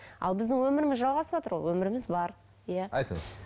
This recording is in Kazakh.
ал біздің өміріміз жалғасыватыр ол өміріміз бар иә айтыңыз